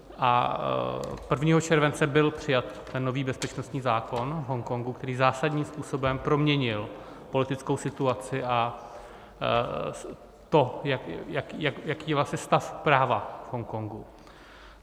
A 1. července byl přijat ten nový bezpečnostní zákon v Hongkongu, který zásadním způsobem proměnil politickou situaci a to, jaký je vlastně stav práva v Hongkongu.